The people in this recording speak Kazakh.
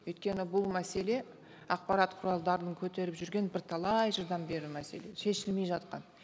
өйткені бұл мәселе ақпарат құралдарының көтеріп жүрген бірталай жылдан бері мәселе шешілмей жатқан